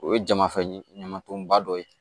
O ye jama fɛ ɲamatonba dɔ ye